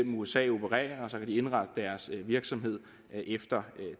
usa opererer og så kan de indrette deres virksomhed efter